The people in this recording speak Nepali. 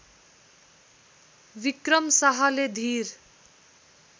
विक्रम शाहले धीर